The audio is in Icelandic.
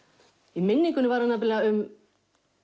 í minningunni var hún um